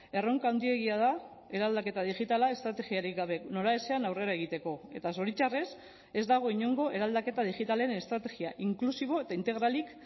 erronka handiegia da eraldaketa digitala estrategiarik gabe noraezean aurrera egiteko eta zoritxarrez ez dago inongo eraldaketa digitalen estrategia inklusibo eta integralik